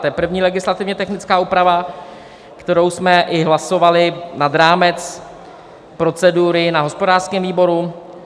To je první legislativně technická úprava, kterou jsme i hlasovali nad rámec procedury na hospodářském výboru.